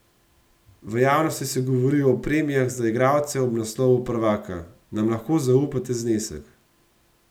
V javnosti se govori o premijah za igralce ob naslovu prvaka, nam lahko zaupate znesek?